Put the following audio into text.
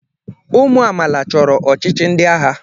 Ụmụ amaala chọrọ ọchịchị ndị agha.